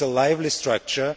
This is a lively structure.